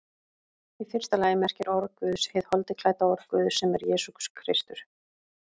Í fyrsta lagi merkir orð Guðs hið holdi klædda orð Guðs, sem er Jesús Kristur.